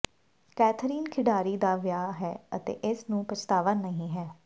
Catherine ਖਿਡਾਰੀ ਦਾ ਵਿਆਹ ਹੈ ਅਤੇ ਇਸ ਨੂੰ ਪਛਤਾਵਾ ਨਹੀ ਹੈ